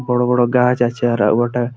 বড়ো বড়ো গাছ আছে আর বটে ।